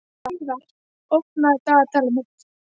Hleiðar, opnaðu dagatalið mitt.